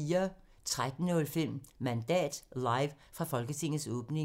13:05: Mandat – live fra Folketingets åbning 02:00: Mellem Linjerne (G) 04:10: 4 på Foden (G)